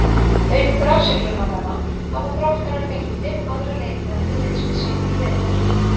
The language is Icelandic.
Auk Brasilíumannanna hafa Þróttarar fengið fimm aðra leikmenn til liðs við sig í vetur.